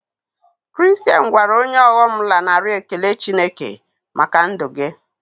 Kiriristain gwara onye ọghọm lanarị Ekele Chineke maka ndụ gị